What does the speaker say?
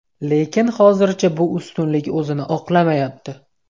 Lekin hozircha bu ustunlik o‘zini oqlamayapti.